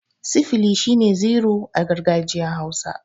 Sifili' shine zero a gargajiyan hausa.